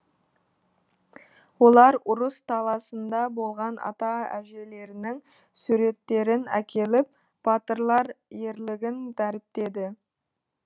олар ұрыс даласында болған ата әжелерінің суреттерін әкеліп батырлар ерлігін дәріптеді